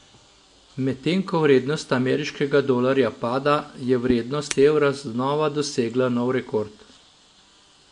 Medtem ko vrednost ameriškega dolarja pada, je vrednost evra znova dosegla nov rekord.